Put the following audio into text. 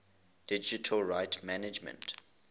digital rights management